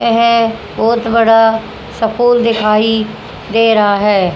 यह बहुत बड़ा स्कूल दिखाई दे रहा है।